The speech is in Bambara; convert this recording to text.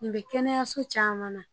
Nin be kɛnɛyaso caman na.